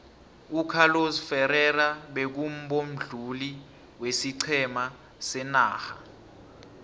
ucarlos ferrerra beku mbonduli wesiqhema senarha